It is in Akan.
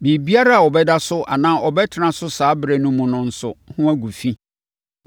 “ ‘Biribiara a ɔbɛda so anaa ɔbɛtena so saa ɛberɛ no mu no nso ho agu fi.